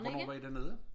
Hvornår var i dernede?